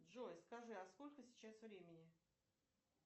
джой скажи а сколько сейчас времени